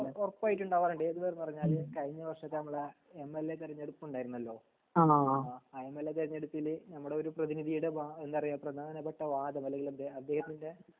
ഉറപ്പായിട്ടും ണ്ടാവർണ്ട് ഏത് വരെ പറഞ്ഞാല് കഴിഞ്ഞ വര്ഷഹത്തെ എം ൽ എ തെരഞ്ഞെടപ് ണ്ടാരുന്നല്ലോ ആ എം എൽ എ തെരഞ്ഞെടുപ്പില് നമ്മുടെ ഒരു പ്രതിനിതീടെ എന്താ പറയാ പ്രധാനപ്പെട്ട വാദം അല്ലെങ്കി എന്ത് അതേഹത്തിന്റെ